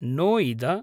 नोइद